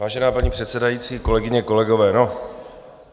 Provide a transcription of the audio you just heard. Vážená paní předsedající, kolegyně, kolegové.